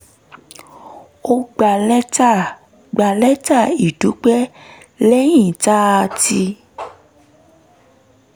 a gba lẹ́tà gba lẹ́tà ìdúpẹ́ lẹ́yìn tá a ti